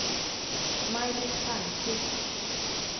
Maj-Britt Palmqvist